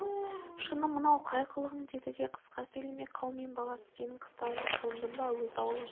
шыны мынау қай қылығың деді да қысқа сөйлемек қаумен баласы сенің қыстауыңа қондым ба өз аулың